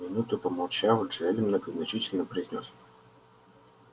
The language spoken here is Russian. минуту помолчав джаэль многозначительно произнёс